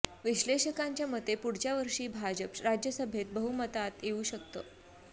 विश्लेषकांच्या मते पुढच्या वर्षी भाजप राज्यसभेत बहुमतात येऊ शकतं